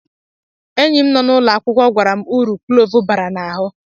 Enyi m nọ n'ụlọ akwụkwọ gwara m uru klove bara n'ahụ